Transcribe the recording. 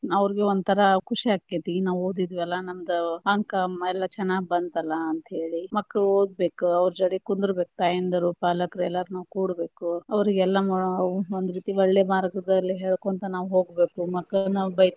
ಅವ್ರಿಗೆ ಒಂತರ ಖುಷಿ ಆಕ್ಕೆತಿ ನಾವು ಓದಿದ್ವಲ್ಲಾ ನಮ್ಮದ ಅಂಕ ಎಲ್ಲಾ ಚನ್ನಾಗ್ ಬಂತ ಅಲ್ಲಾ ಅಂತೇಳಿ, ಮಕ್ಕಳ ಓದ ಬೇಕ ಅವ್ರ ಜೋಡಿ ಕುಂದ್ರಬೇಕ ತಾಯಂದರು ಪಾಲಕರು ಎಲ್ಲಾರು ಕೂರ್ಬೇಕು, ಅವ್ರಿಗೆಲ್ಲಾ ನಾವು ಒಂದ ರೀತಿ ಒಳ್ಳೆ ಮಾರ್ಗದಲ್ಲಿ ಹೇಳಕೊಂತ ನಾವ ಹೋಗ್ಬೇಕ, ಮಕ್ಕಳಗ ನಾವ ಬೈತಾ.